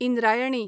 Indrayani